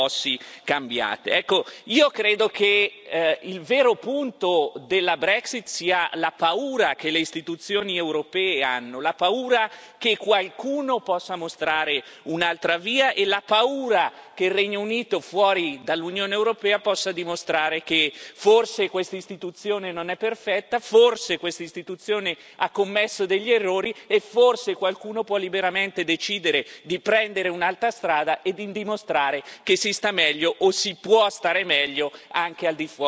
Io credo che il vero punto della Brexit sia la paura che le istituzioni europee hanno, la paura che qualcuno possa mostrare un'altra via e la paura che il Regno Unito fuori dall'Unione europea possa dimostrare che forse questa istituzione non è perfetta, forse questa istituzione ha commesso degli errori e forse qualcuno può liberamente decidere di prendere un'altra strada e di dimostrare che si sta meglio, o si può stare meglio, anche al di fuori dell'Unione europea.